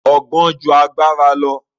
Ọgbọ́n ju agbára lọ.